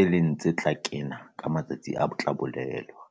e leng tse tla kena ka matsatsi a tla bolelwa.